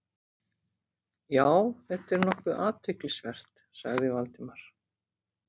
Já, þetta er nokkuð athyglisvert- sagði Valdimar.